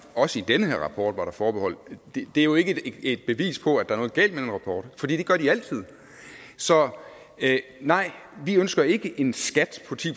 også i den her rapport er forbehold er jo ikke et bevis på at der er noget galt med den rapport for det gør de altid så nej vi ønsker ikke en skat på ti